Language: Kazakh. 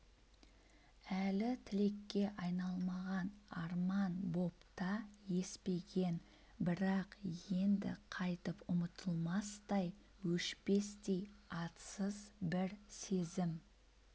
әлі тілекке айналмаған арман боп та еспеген бірақ енді қайтып ұмытылмастай өшпестей атсыз бір сезім